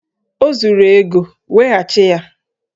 O zuru ego, weghachi ya!